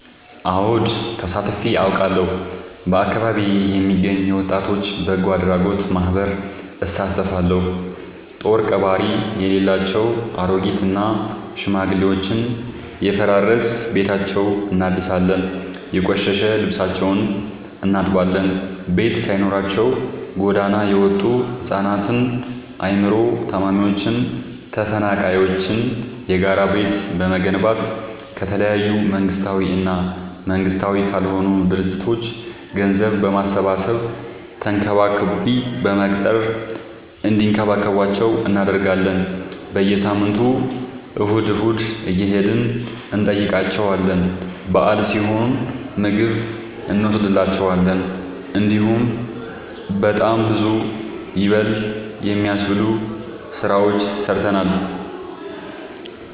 አወድ ተሳትፊ አውቃለሁ። በአካቢዬ የሚገኝ የወጣቶች በጎአድራጎት ማህበር እሳተፋለሁ። ጦሪቀባሪ የሌላቸው አሬጊት እና ሽማግሌዎችን የፈራረሰ ቤታቸውን እናድሳለን፤ የቆሸሸ ልብሳቸውን እናጥባለን፤ ቤት ሳይኖራቸው ጎዳና የወጡቱ ህፃናትን አይምሮ ታማሚዎችን ተፈናቃይዎችን የጋራ ቤት በመገንባት ከተለያዩ መንግስታዊ እና መንግስታዊ ካልሆኑ ድርጅቶች ገንዘብ በማሰባሰብ ተንከባካቢ በመቅጠር እንዲከባከቧቸው እናደርጋለን። በየሳምንቱ እሁድ እሁድ እየሄድን እንጠይቃቸዋለን በአል ሲሆን ምግብ እኖስድላቸዋለን። እንዲሁም በጣም ብዙ ይበል የሚያስብ ስራዎችን ሰርተናል።